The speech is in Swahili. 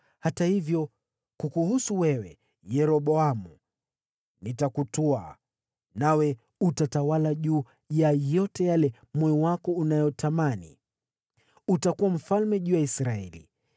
Hata hivyo, kukuhusu wewe Yeroboamu, nitakutwaa, nawe utatawala juu ya yote yale moyo wako unayotamani, utakuwa mfalme juu ya Israeli.